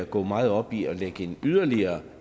går meget op i at lægge yderligere